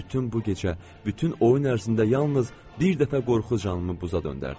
Bütün bu gecə, bütün oyun ərzində yalnız bir dəfə qorxu canımı buza döndərdi.